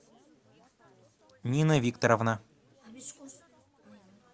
нина викторовна